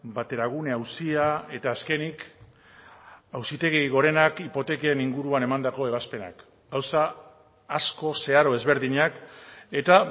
bateragune auzia eta azkenik auzitegi gorenak hipoteken inguruan emandako ebazpenak gauza asko zeharo ezberdinak eta